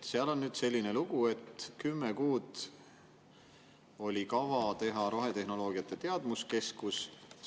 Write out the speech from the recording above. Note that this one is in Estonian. Seal on selline lugu, et 10 kuud oli kavas teha rohetehnoloogiate teadmuskeskus.